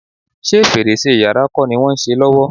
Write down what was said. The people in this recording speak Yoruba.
Ṣé fèrèsé yàrá kọ́ ni wọ́n ń ṣe lọ́wọ́?